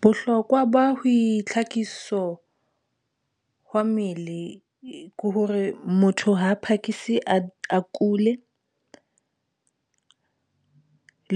Bohlokwa ba ho boitlhakiso hwa mele hore motho ha a phakisi, a kule, a